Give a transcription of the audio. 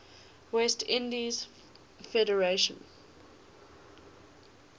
west indies federation